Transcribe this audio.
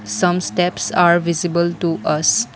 some steps are visible to us.